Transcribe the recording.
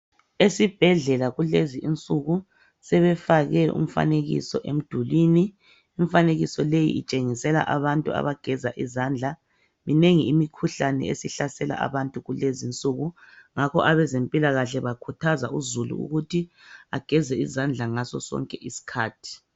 Esibhedlela kulezinsuku sebefake umfanekiso emdulini, imifanekiso leyi itshengisa abantu abageza izandla minengi imikhuhlane esihlasela abantu ngakho abezempilakahle bakhuthazauzulu ukuthi ageze izandla ngaso sonke isikhathi.